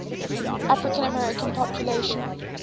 african american population